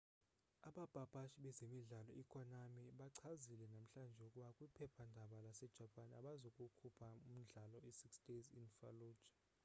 abapapashi bezemidlalo i-konami bachazile namhlanje ukuba kwiphephandaba lase-japan abazukukhupha umdlalo i-six days in fallujah